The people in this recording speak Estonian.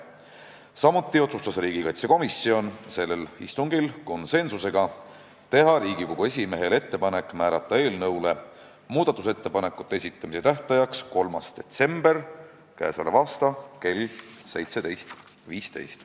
Samuti otsustas riigikaitsekomisjon sellel istungil konsensusega teha Riigikogu esimehele ettepaneku määrata eelnõu muudatusettepanekute esitamise tähtajaks k.a 3. detsember kell 17.15.